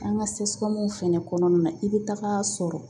An ka fɛnɛ kɔnɔna na i bɛ taga sɔrɔ